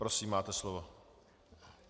Prosím, máte slovo.